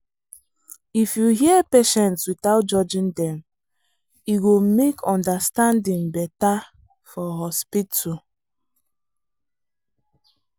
if you hear patients without judging dem e go make understanding better for hospital.